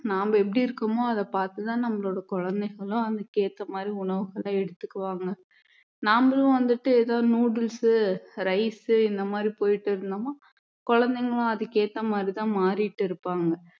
நாம எப்படி இருக்கமோ அதை பார்த்து தான் நம்மளோட குழந்தைகளும் அதுக்கேத்த மாதிரி உணவுகளை எடுத்துக்குவாங்க நம்மளும் வந்துட்டு ஏதோ noodles rice இந்த மாதிரி போயிட்டே இருந்தோம்னா குழந்தைகளும் அதுக்கேத்த மாதிரி தான் மாறிட்டிருப்பாங்க